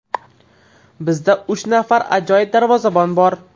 Bizda uch nafar ajoyib darvozabon bor.